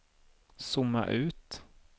zooma ut